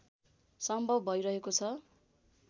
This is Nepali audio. सम्भव भइरहेको छ